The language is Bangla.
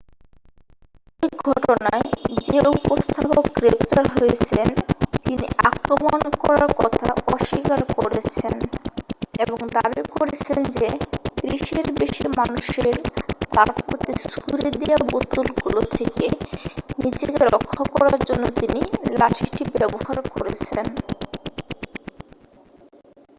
ওই ঘটনায় যে উপস্থাপক গ্রেফতার হয়েছেন তিনি আক্রমণ করার কথা অস্বীকার করেছেন এবং দাবী করেছেন যে ত্রিশের বেশী মানুষের তার প্রতি ছুড়ে দেয়া বোতলগুলো থেকে নিজেকে রক্ষা করার জন্য তিনি লাঠিটি ব্যবহার করেছেন